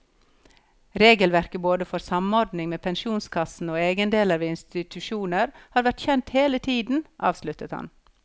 Regelverket både for samordning med pensjonskassene og egenandeler ved institusjoner har vært kjent hele tiden, avsluttet han.